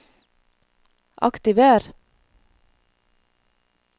aktiver